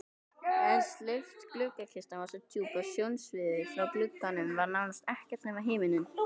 En steypt gluggakistan var svo djúp að sjónsviðið frá glugganum var nánast ekkert nema himinninn.